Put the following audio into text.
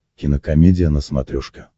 кинокомедия на смотрешке